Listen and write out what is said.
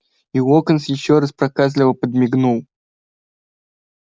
и локонс ещё раз проказливо подмигнул